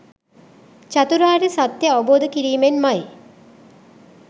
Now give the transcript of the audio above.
චතුරාර්ය සත්‍යය අවබෝධ කිරීමෙන් මයි.